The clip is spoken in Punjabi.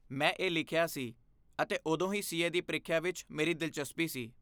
ਮੈਂ ਇਹ ਲਿਖਿਆ ਸੀ ਅਤੇ ਉਦੋਂ ਤੋਂ ਹੀ ਸੀਏ ਦੀ ਪ੍ਰੀਖਿਆ ਵਿੱਚ ਮੇਰੀ ਦਿਲਚਸਪੀ ਸੀ।